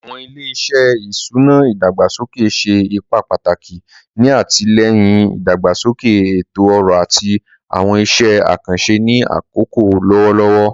Awọn ile-iṣẹ iṣuna idagbasoke ṣe ipa pataki ni atilẹyin idagbasoke eto-ọrọ ati awọn iṣẹ akanṣe ni akoko lọwọlọwọ.